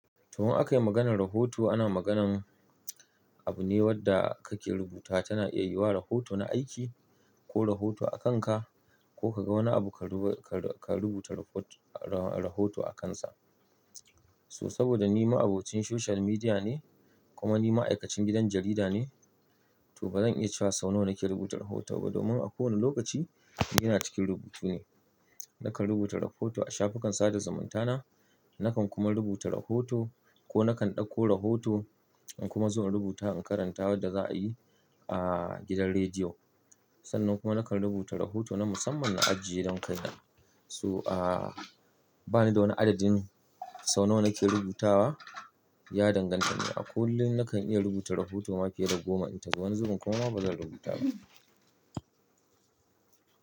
To, in akayi maganar rahoto, ana magana abu ne wanda kake rubuta. Tana iya yiwa rahoto na aiki ko rahoto a kanka ko ka ga wani abu ka rubuta rahoto a kansa. So saboda ni ma'abocin social media ne kuma ni ma'aikacin gidan jarida ne, to ba zan iya cewa sau nawa nake rubuta rahoto ba domin a kowane lokaci ina cikin rubutu ne. Nakan rubuta rahoto a shafukan sada zumunta na, nakan kuma rubuta rahoto ko nakan ɗauko rahoto in kuma zo na rubuta in karanta waɗda za a yi a gidan rediyo. Sannan kuma nakan rubuta rahoto na musamman na ajiye don kai nan. So a ba ni da wani adadin sau nawa nake rubutawa, ya danganta ne. A kullum nakan iya rubuta rahoto ma fiye da goma, ita wani zuƙin kuma ba zan rubuta ba.